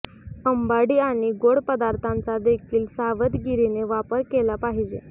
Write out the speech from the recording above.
अंबाडी आणि गोड पदार्थांचा देखील सावधगिरीने वापर केला पाहिजे